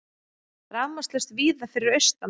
Rafmagnslaust víða fyrir austan